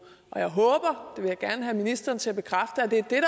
jeg håber vil jeg gerne have ministeren til at bekræfte at det er det